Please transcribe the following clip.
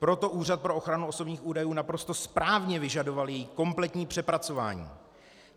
Proto Úřad pro ochranu osobních údajů naprosto správně vyžadoval její kompletní přepracování.